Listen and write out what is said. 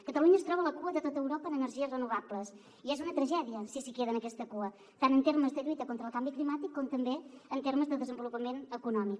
catalunya es troba a la cua de tota europa en energies renovables i és una tragèdia si s’hi queda en aquesta cua tant en termes de lluita contra el canvi climàtic com també en termes de desenvolupament econòmic